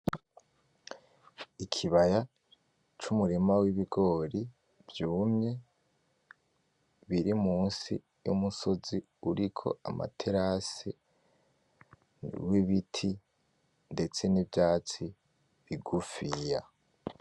Ikibaya c'umurima w'ibigori vyumye, biri musi y'umusozi uriko amaterase, w'ibiti ndetse n'ivyatsi bigufiya.